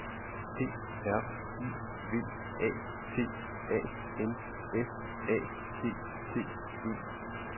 P R I V A T A N S A T T E